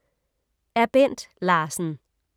Af Bent Larsen